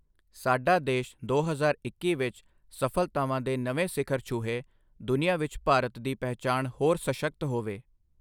ਸਾਡਾ ਦੇਸ਼ ਦੋ ਹਜ਼ਾਰ ਇੱਕੀ ਵਿੱਚ ਸਫਲਤਾਵਾਂ ਦੇ ਨਵੇਂ ਸਿਖ਼ਰ ਛੂਹੇ, ਦੁਨੀਆ ਵਿੱਚ ਭਾਰਤ ਦੀ ਪਹਿਚਾਣ ਹੋਰ ਸਸ਼ਕਤ ਹੋਵੇ।